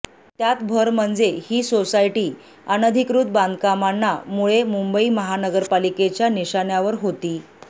त्यात भर म्हणजे ही सोसायटी अनधिकृत बांधकामांना मुळे मुंबई महानगरपालिकेच्या निशाण्यावर होती